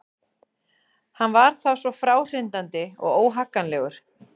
Hann var þá svo fráhrindandi og óhagganlegur.